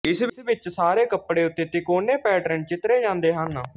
ਇਸ ਵਿੱਚ ਸਾਰੇ ਕੱਪੜੇ ਉੱਤੇ ਤਿਕੋਨੇ ਪੈਟਰਨ ਚਿੱਤਰੇ ਜ਼ਾਦੇ ਹਨ